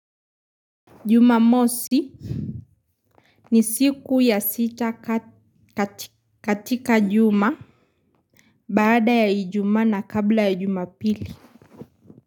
Jumamosi ni siku ya sita katika juma. Baada ya ijumaa na kabla ya jumapili.